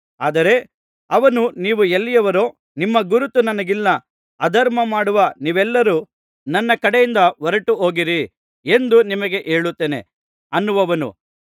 ಆದರೆ ಅವನು ನೀವು ಎಲ್ಲಿಯವರೋ ನಿಮ್ಮ ಗುರುತು ನನಗಿಲ್ಲ ಅಧರ್ಮಮಾಡುವ ನೀವೆಲ್ಲರೂ ನನ್ನ ಕಡೆಯಿಂದ ಹೊರಟು ಹೋಗಿರಿ ಎಂದು ನಿಮಗೆ ಹೇಳುತ್ತೇನೆ ಅನ್ನುವನು